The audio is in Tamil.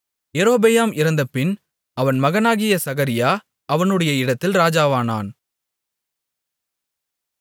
யெரொபெயாம் இறந்தபின் அவன் மகனாகிய சகரியா அவனுடைய இடத்தில் ராஜாவானான்